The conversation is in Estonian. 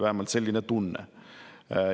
Vähemalt oli selline tunne.